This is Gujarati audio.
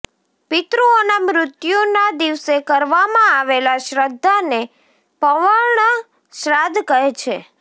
પિત્રુઓના મૃત્યુના દિવસે કરવામાં આવેલા શ્રધ્ધાને પર્વણ શ્રાદ્ધ કહે છે